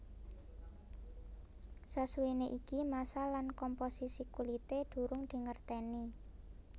Sasuwené iki massa lan komposisi kulité durung dingerteni